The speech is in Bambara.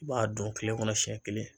I b'a dun kile kɔnɔ siɲɛ kelen